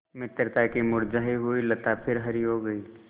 मित्रता की मुरझायी हुई लता फिर हरी हो गयी